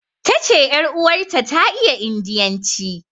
Ta ce ƴar uwarta ta iya indiyanci.